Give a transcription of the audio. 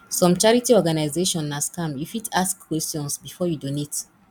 some charity organization na scam you fit ask questions before you donate